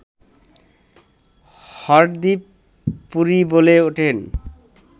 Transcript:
হরদীপ পুরী বলে ওঠেন